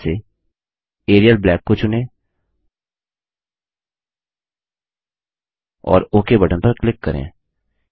सूची में से एरियल ब्लैक को चुनें और ओक बटन पर क्लिक करें